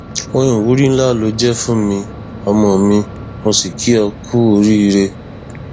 ohun ìwúrí ńlá ló jẹ fún mi ọmọ mi mo sì kí ó ku oríire